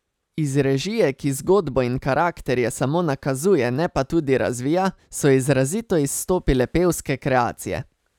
Iz režije, ki zgodbo in karakterje samo nakazuje, ne pa tudi razvija, so izrazito izstopile pevske kreacije.